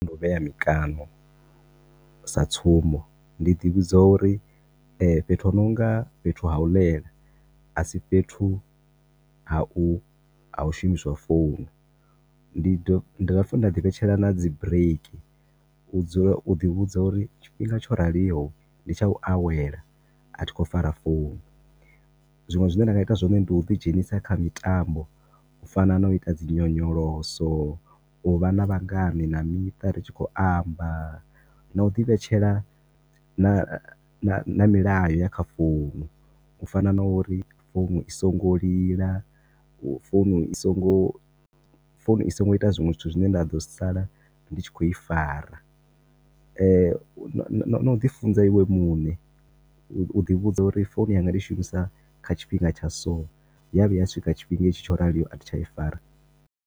Ndi u vhea mikano, sa tsumbo, ndi ḓi vhudza uri fhethu ho nonga fhethu ha u ḽela a si fhethu ha u shumiswa founu, ndi dovha futhi nda dzi vhetshela na dzi bureiki, u dzula, u ḓi vhudza uri tshifhinga tsho raliho ndi tsha u awela a thi khou fara founu, zwinwe zwi ne nda nga ita zwone ndi u dzi dzhenisa kha mitambo, u fana na u ita dzi nyonyoloso, u vha na vhangane na miṱa ri tshi khou amba, na u ḓi vhetshela na na milayo ya kha founu, u fana na uri founu i songo lila, founu i songo, founu i songo ita zwinwe zwithu zwi ne nda ḓo sala ndi tshi khou i fara , na u ḓi funza iwe munṋe, u ḓi vhudza uri founu yanga ndi i shumisa nga tshifhinga tsha so, ya vhuya ya swika tshifhinga hetshi tsho raliho, a thi tsha i fara.